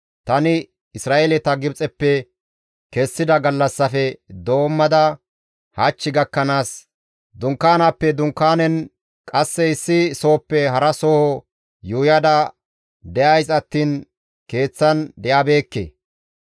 Tani Isra7eeleta Gibxeppe kessida gallassaafe doommada hach gakkanaas, dunkaanaappe dunkaanen, qasse issi sohoppe hara soho yuuyada de7ays attiin keeththan de7abeekke.